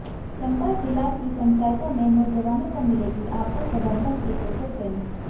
चंबा जिला की पंचायतों में नौजवानों को मिलेगी आपदा प्रबंधन की स्पेशल ट्रेनिंग